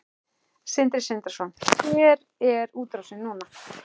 Sindri Sindrason: Hver er útrásin núna?